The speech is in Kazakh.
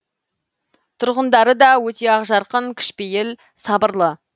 тұрғындары да өте ақжарқын кішіпейіл сабырлы